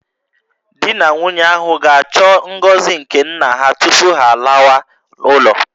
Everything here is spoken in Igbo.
Di na nwunye ahụ ga-achọ ngọzi nke nna ha tupu ha alawa ụlọ